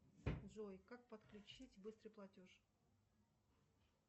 джой как подключить быстрый платеж